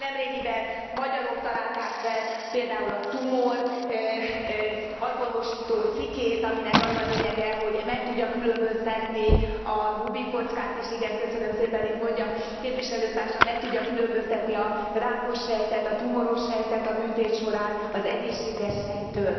Nemrégiben magyarok találták fel a tumor azonosító szikét, aminek az a lényege, hogy meg tudja különböztetni a Rubik kockát is, igen köszönöm szépen, itt mondja képviselő társam meg tudja különböztetni a rákos sejtet, a tumoros sejtet a műtét során az egészséges sejttől.